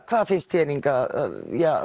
hvað finnst þér Inga að